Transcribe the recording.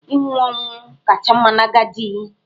Ịnwụ ọnwụ kacha mma n'agadi.